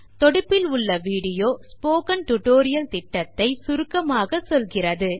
தொடுப்பில் உள்ள video spoken tutorial project ஐப் பற்றி சுருக்கமாகக் கூறும்